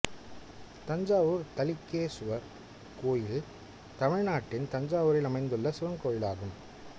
தஞ்சாவூர் தளிகேசுவரர் கோயில் தமிழ்நாட்டின் தஞ்சாவூரில் அமைந்துள்ள சிவன் கோயிலாகும்